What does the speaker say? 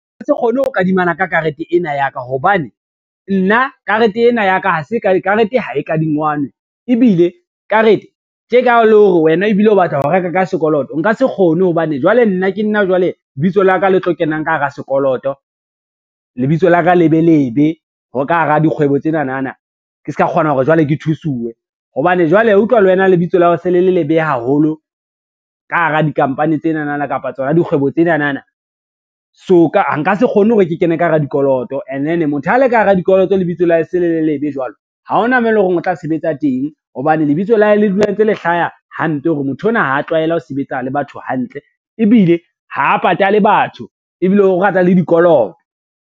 Se kgone ho kadimana ka karete ena ya ka hobane, nna karete ena ya ka karete ha e kadingwanwe, ebile karete tje ka le hore wena ebile o batla ho reka ka sekoloto nka se kgone hobane jwale nna ke nna jwale lebitso la ka le tlo kenang ka hara sekoloto. Lebitso la ka le be lebe hore ka hara dikgwebo tsenanana, ke ske ka kgona hore jwale ke thusuwe hobane jwale, wa utlwa le wena lebitso la hao se le le lebe haholo ka hara di-company tsenana kapa tsona dikgwebo tsenanana. So nka se kgone hore ke kene ka hara dikoloto ene then motho ha le ka hara dikoloto lebitso la hae e se le le lebe jwalo, ha ona moo e lo reng o tla sebetsa teng hobane lebitso la hae le dula ntse le hlaya hampe hore motho ona ha tlwaela ho sebetsa le batho hantle, ebile ha a patale batho ebile o rata le dikoloto.